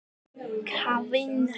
Hún segir þetta hægt og varfærnislega.